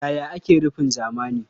Yaya ake rufin zamani?